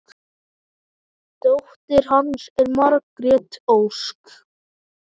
Dóttir hans er Margrét Ósk.